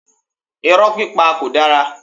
Irọ́ pípa kò dára.